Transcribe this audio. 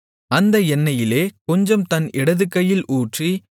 அந்த எண்ணெயிலே கொஞ்சம் தன் இடதுகையில் ஊற்றி